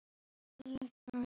Oftast er það til lýta.